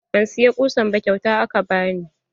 Ban siya ƙusan ba kyauta aka bani.